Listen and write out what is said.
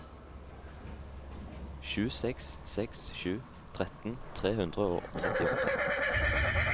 sju seks seks sju tretten tre hundre og trettiåtte